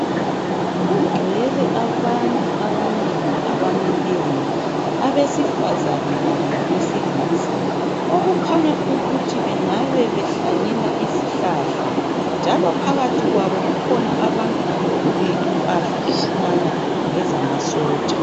Kugcwele abantu abanengi abamileyo, abesifazana kanye labesilisa okukhanya ukuthi bengabe behlanyela izihlahla njalo phakathi kwabo kukhona abantu abagqoke impahla ezifana lezamasotsha.